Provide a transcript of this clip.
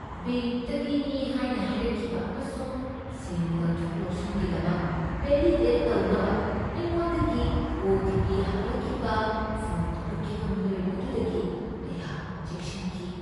ꯕꯦꯡꯛꯇꯒꯤꯅꯤ ꯍꯥꯏꯅ ꯍꯥꯏꯔꯛꯈꯤꯕ ꯑꯃꯁꯨꯡ ꯁꯦꯟ ꯂꯧꯊꯣꯛ ꯂꯧꯁꯤꯟꯒꯤꯗꯃꯛ ꯕꯦꯂꯤꯗꯦꯠ ꯇꯧꯅꯕ ꯑꯩꯉꯣꯟꯗꯒꯤ ꯑꯣ.ꯇꯤ.ꯄꯤ. ꯍꯪꯂꯛꯈꯤꯕ ꯐꯣꯟ ꯇꯧꯔꯛꯈꯤꯕ ꯃꯤꯑꯣꯏ ꯑꯗꯨꯗꯒꯤ ꯑꯩꯍꯥꯛ ꯆꯦꯛꯁꯤꯟꯈꯤ꯫